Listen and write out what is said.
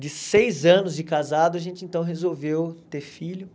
De seis anos de casado, a gente então resolveu ter filho.